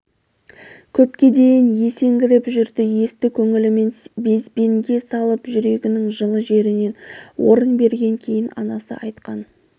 көпке дейін есеңгіреп жүрді есті көңілімен безбенге салып жүрегінің жылы жерінен орын берген кейін анасы айтқан